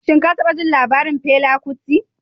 Shin ka taba jin labarin Fela Kuti?